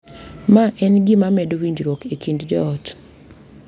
Ma en gima medo winjruok e kind joot.